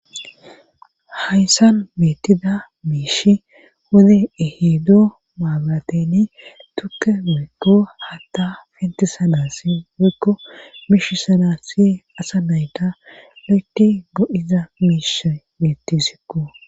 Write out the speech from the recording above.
haysan beettida miishi wode ehido mabrateni tukke woykko hatta pentisanasi woykko miishisanasi asa nayta lo7eti go7iza miishay beettesikko